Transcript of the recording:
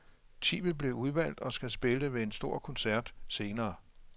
Ti vil blive udvalgt og skal spille ved en stor koncert senere.